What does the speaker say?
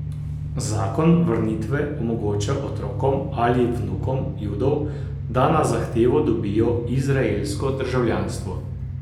Zakon vrnitve omogoča otrokom ali vnukom Judov, da na zahtevo dobijo izraelsko državljanstvo.